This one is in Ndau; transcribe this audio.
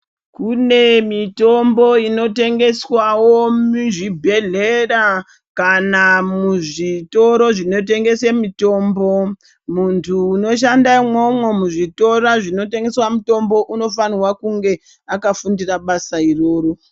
Kune mitombo unotengeswawo muzvibhedhleya kana muzvitoro zvinotengese mitombo. Muntu unoshanda umwomwo muzvitora zvinotengeswa mutombo unofanirwa kunge akafundira basa iroro.